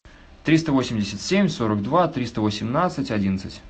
триста восемьдесят семь сорок два триста восемнадцать одиннадцать